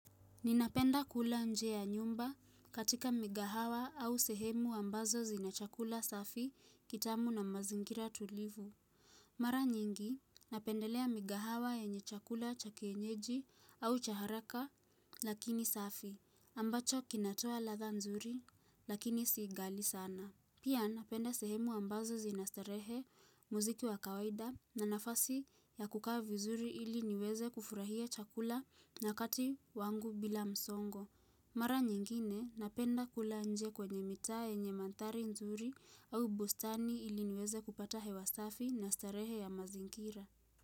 Ninapenda kula nje ya nyumba katika migahawa au sehemu ambazo zinachakula safi kitamu na mazingira tulivu. Mara nyingi, napendelea migahawa yenye chakula cha kienyeji au cha haraka lakini safi, ambacho kinatoa ladha nzuri lakini si ghali sana. Pia napenda sehemu ambazo zinastarehe muziki wa kawaida na nafasi ya kukaa vizuri ili niweze kufurahia chakula wakati wangu bila msongo. Mara nyingine napenda kula nje kwenye mitaa yenye mandhari nzuri au bustani ili niweze kupata hewa safi na starehe ya mazingira.